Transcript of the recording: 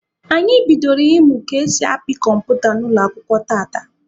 Anyị bidoro ịmụ ka esi apị kọmputa n'ụlọ akwụkwọ tata.